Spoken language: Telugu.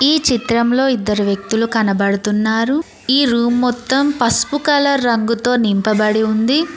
ఈ చిత్రంలో ఇద్దరు వ్యక్తులు కనబడుతున్నారు ఈ రూమ్ మొత్తం పసుపు కలర్ రంగుతో నింపబడి ఉంది.